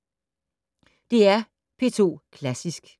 DR P2 Klassisk